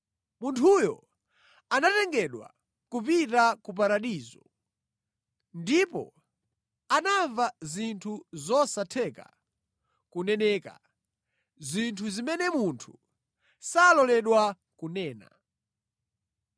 Munthuyu anatengedwa kupita ku paradizo. Ndipo anamva zinthu zosatheka kuneneka, zinthu zimene munthu saloledwa kunena.